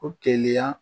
O keliya